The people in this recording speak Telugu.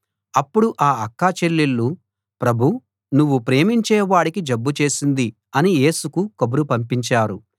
అప్పుడు ఆ అక్క చెల్లెళ్ళు ప్రభూ నువ్వు ప్రేమించే వాడికి జబ్బు చేసింది అని యేసుకు కబురు పంపించారు